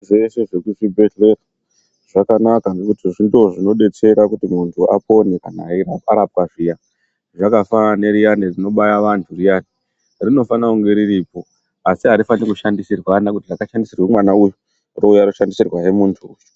Zveshe zvekubhendleya zvakanaka ngekuti ndizvo zvinodetsera kuti muntu apone kana arapwa zviyaa. Zvakafanana neriyani rinobaya vantu riya, rinofanira kunge riripo asi arifanirwi kushandisirwana kuti rakashandisirwa mwana uyu rouya roshandisirwa zve muntu.